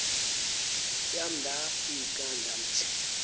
yam ndafika ndamthi